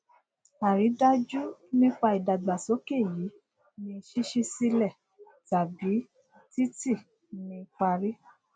àridájú nípa ìdàgbàsókè yìí ni ṣíṣí sílè tàbí títì ní parí